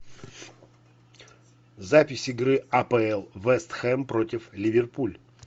запись игры апл вест хэм против ливерпуль